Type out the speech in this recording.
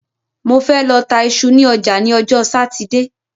Mo fẹ́ lọ ta iṣu ní ọjà ní ọjọ́ Sátidé